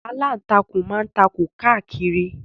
Aláǹtakùn ma ń takùn káàkiri